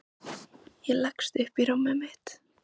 Ég leggst upp í rúmið mitt.